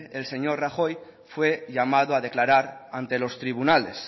el señor rajoy fue llamado a declarar ante los tribunales